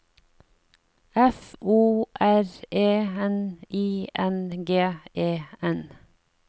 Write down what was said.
F O R E N I N G E N